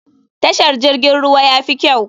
Tashar jirgin ruwa yafi kyau.